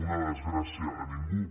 una desgràcia a ningú